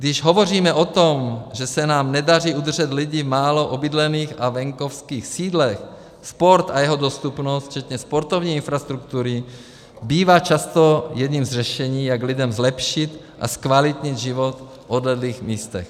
Když hovoříme o tom, že se nám nedaří udržet lidi v málo obydlených a venkovských sídlech, sport a jeho dostupnost včetně sportovní infrastruktury bývá často jedním z řešení, jak lidem zlepšit a zkvalitnit život v odlehlých místech.